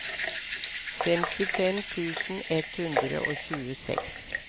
femtifem tusen ett hundre og tjueseks